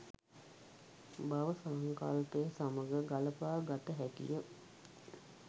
භව සංකල්පය සමඟ ගළපා ගත හැකි ය.